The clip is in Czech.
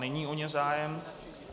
Není o ně zájem.